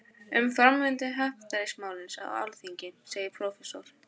Um framvindu happdrættis-málsins á Alþingi segir prófessor